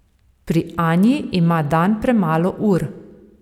Pri Anji ima dan premalo ur.